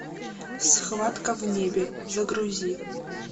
схватка в небе загрузи